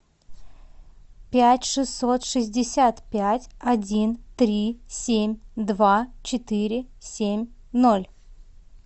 пять шестьсот шестьдесят пять один три семь два четыре семь ноль